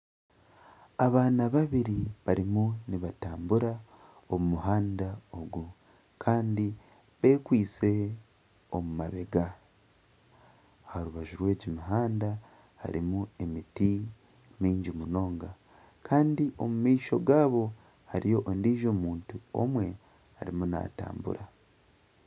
Abaana babiri barimu nibatambura omu muhanda ogu. Kandi bekwaitse omu mabega. Aha rubaju rw'ogu muhanda harimu emiti mingi munonga. Kandi omumaisho gaabo hariyo ondiijo muntu omwe arimu naatambura.